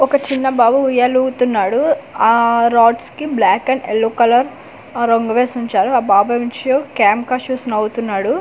ఒక చిన్న బాబు ఉయ్యాలూవుతున్నాడు ఆ రాడ్స్ కి బ్లాక్ అండ్ ఎల్లో కలర్ రంగు వేసి వుంచారు ఆ క్యామ్ కస్ షూస్ నవ్వుతున్నాడు అండ్ వ్య--